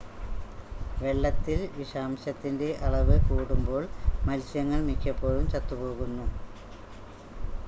വെള്ളത്തിൽ വിഷാംശത്തിൻ്റെ അളവ് കൂടുമ്പോൾ മത്സ്യങ്ങൾ മിക്കപ്പോഴും ചത്തു പോകുന്നു